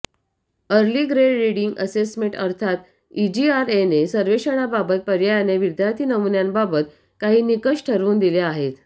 early grade reading assessment अर्थात इजीआरएने सर्वेक्षणाबाबत पर्यायाने विद्यार्थी नमुन्यांबाबत काही निकष ठरवून दिले आहेत